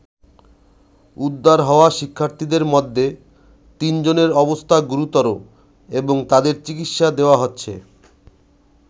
উদ্ধার হওয়া শিক্ষার্থীদের মধ্যে তিনজনের অবস্থা গুরুতর এবং তাদের চিকিৎসা দেওয়া হচ্ছে।